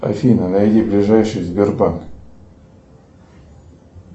афина найди ближайший сбербанк